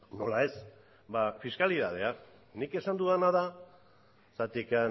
nola ez ba fiskalitatea nik esan dudana da zergatik